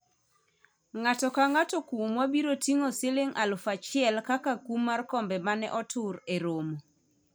ng'ato ka ng'ato kuomwa biro ting'o siling alufu achiel kaka kum mar kombe mane otur e romo